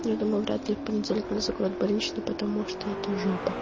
я думаю вряд ли в понедельник мне закроют больничный потому что это жопа